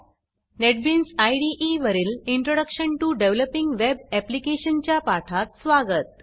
NetBeans इदे वरील introduction to developing web ऍप्लिकेशन्सच्या पाठात स्वागत